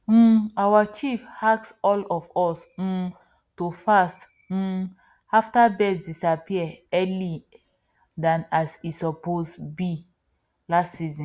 um our chief ask all of us um to fast um after birds disappear early than as e suppose be last season